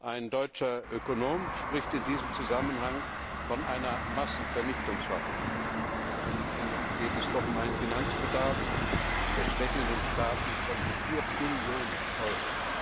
Ein deutscher Ökonom spricht in diesem Zusammenhang von einer Massenvernichtungswaffe, geht es doch um einen Finanzbedarf der schwächelnden Staaten von 4 Billionen Euro.